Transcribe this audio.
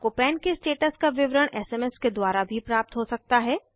आपको पन के स्टेटस का विवरण एसएमएस के द्वारा भी प्राप्त हो सकता है